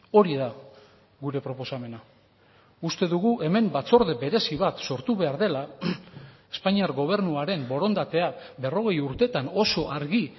hori da gure proposamena uste dugu hemen batzorde berezi bat sortu behar dela espainiar gobernuaren borondatea berrogei urtetan oso argi